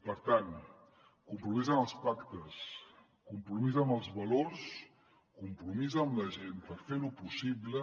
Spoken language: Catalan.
per tant compromís amb els pactes compromís amb els valors compromís amb la gent per fer ho possible